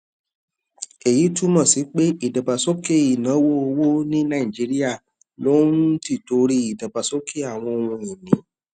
èyí túmọ sí pé ìdàgbàsókè ìnáwó owó ní nàìjíríà ló ń ń tìtorí ìdàgbàsókè àwọn ohun ìní